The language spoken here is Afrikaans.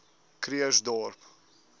krugersdorp